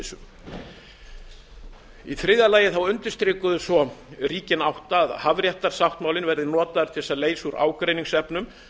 olíuslysum í þriðja lagi undirstrikuðu svo ríkin átta að hafréttarsáttmálinn yrði notaður til að leysa úr ágreiningsefnum